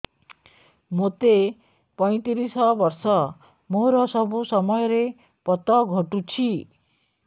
ମୋତେ ପଇଂତିରିଶ ବର୍ଷ ମୋର ସବୁ ସମୟରେ ପତ ଘଟୁଛି